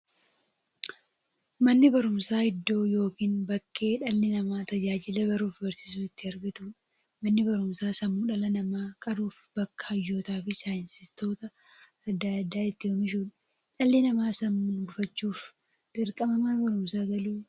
Manni baruumsaa iddoo yookiin bakkee dhalli namaa tajaajila baruufi barsiisuu itti argatuudha. Manni barumsaa sammuu dhala namaa qaruufi bakka hayyootafi saayintistoota adda addaa itti oomishuudha. Dhalli namaa sammuun gufachuuf, dirqama Mana barumsaa galuu qaba.